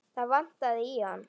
Það vantaði í hann.